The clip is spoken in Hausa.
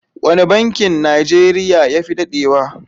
Wane bankin Najeriya ya fi dadewa?